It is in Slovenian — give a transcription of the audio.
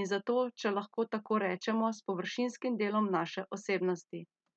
in zato, če lahko tako rečemo, s površinskim delom naše osebnosti.